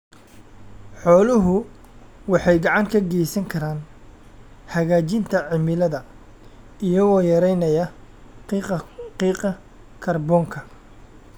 Xooluhu waxay gacan ka geysan karaan hagaajinta cimilada iyagoo yareynaya qiiqa kaarboonka.